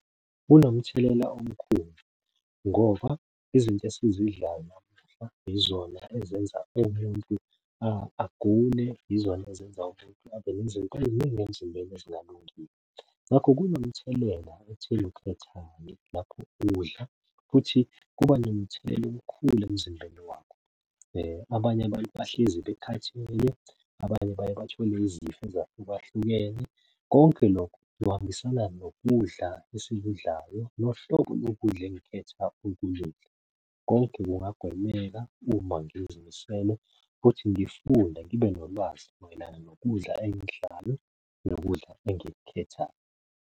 Kunomthelela omkhulu ngoba izinto esizidlayo yizona ezenza umuntu agule, yizona ezenza umuntu abe nezinto ey'ningi emzimbeni ezingalungile. Ngakho kunomthelela ekutheni ukhethani lapho udla futhi kuba nomthelela omkhulu emzimbeni wakho. Abanye abantu bahlezi bekhathele, abanye baye bathole izifo ezahlukahlukene. Konke lokhu kuhambisana nokudla esikudlayo nohlobo lokudla engikhetha ukukudla. Konke kungagwemeka uma ngizimisele futhi ngifunda ngibe nolwazi mayelana nokudla engikudlayo nokudla engikukhethayo.